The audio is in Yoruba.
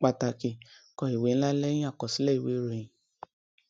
pàtàkì kọ ìwé ńlá lẹyìn àkọsílẹ ìwé ìròyìn